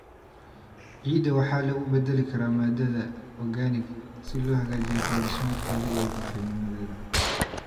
Ciidda waxa lagu beddeli karaa maadada organic si loo hagaajiyo qaab-dhismeedkeeda iyo bacrinnimadeeda.